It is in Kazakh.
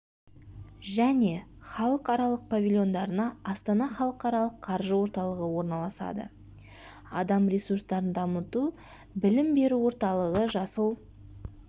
және халықаралық павильондарына астана халықаралық қаржы орталығы орналасады адам ресурстарын дамыту білім беру орталығы жасыл